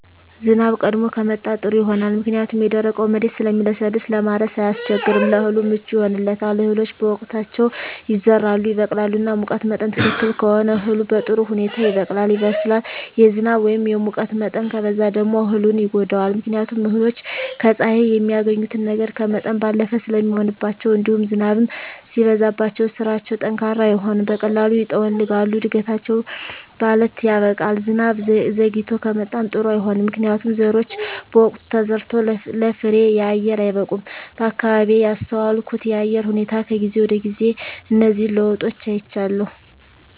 ዝናብ ቀድሞ ከመጣ ጥሩ ይሆናል ምክንያቱም የደረቀዉ መሬት ስለሚለሰልስ ለማረስ አያስቸግርም ለእህሉ ምቹ ይሆንለታል እህሎች በወቅታቸዉ ይዘራሉ ይበቅላሉ እና ሙቀት መጠን ትክክል ከሆነ እህሉ በጥሩ ሁኔታ ይበቅላል ይበስላል የዝናብ ወይም የሙቀት መጠን ከበዛ ደግሞ እህሉን ይጎዳዋል ምክንያቱም እህሎች ከፀሐይ የሚያገኙትን ነገር ከመጠን ባለፈ ስለሚሆንባቸዉእንዲሁም ዝናብም ሲበዛባቸዉ ስራቸዉ ጠንካራ አይሆንም በቀላሉ ይጠወልጋሉ እድገታቸዉ ባለት ያበቃል ዝናብ ዘይግቶ ከመጣም ጥሩ አይሆንም ምክንያቱም ዘሮች በወቅቱ ተዘርተዉ ለፍሬየአየር አይበቁም በአካባቢየ ያስተዋልኩት የአየር ሁኔታ ከጊዜ ወደጊዜ እነዚህን ለዉጦች አይቻለሁ